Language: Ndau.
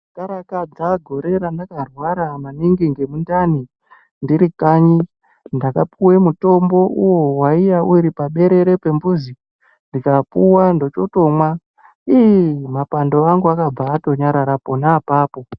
Ndikakarakadza gore randakarwara maningi ngemundani ndiri kanyi ndakapiwe mitombo uwo waiya uri paberere pembuzi ndikapiwa ndochotomwa iiih mapando angu akabva atonyarara pona apapo.